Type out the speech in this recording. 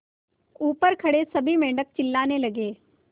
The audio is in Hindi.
ऊपर खड़े सभी मेढक चिल्लाने लगे